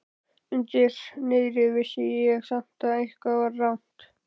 Undir niðri vissi ég samt að eitthvað var rangt.